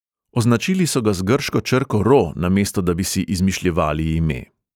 Označili so ga z grško črko ro, namesto, da bi si izmišljevali ime.